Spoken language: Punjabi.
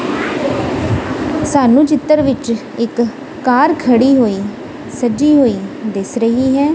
ਸਾਨੂੰ ਚਿੱਤਰ ਵਿੱਚ ਇੱਕ ਕਾਰ ਖੜੀ ਹੋਈ ਸੱਜੀ ਹੋਈ ਦਿਸ ਰਹੀ ਹੈ।